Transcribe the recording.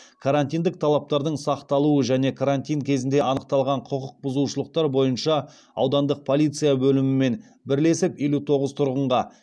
карантиндік талаптардың сақталуы және карантин кезінде анықталған құқық бұзушылықтар бойынша аудандық полиция бөлімімен бірлесіп елу тоғыз тұрғынға